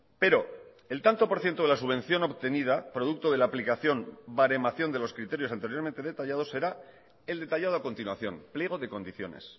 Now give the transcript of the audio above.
pero el tanto por ciento de la subvención obtenida producto de la aplicación baremación de los criterios anteriormente detallados será el detallado a continuación pliego de condiciones